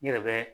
N yɛrɛ bɛ